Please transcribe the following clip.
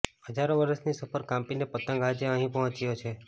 હજારો વર્ષની સફર કાપીને પતંગ આજે અહીં પહોંચ્યો છે